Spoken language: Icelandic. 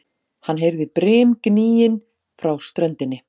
Hann heyrði brimgnýinn frá ströndinni.